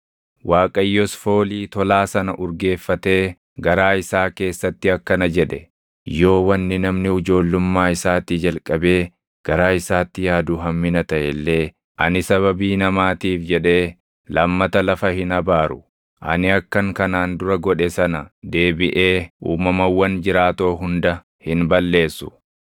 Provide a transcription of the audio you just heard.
Waaqayyos foolii tolaa sana urgeeffatee garaa isaa keessatti akkana jedhe; “Yoo wanni namni ijoollummaa isaatii jalqabee garaa isaatti yaadu hammina taʼe illee ani sababii namaatiif jedhee lammata lafa hin abaaru. Ani akkan kanaan dura godhe sana deebiʼee uumamawwan jiraatoo hunda hin balleessu.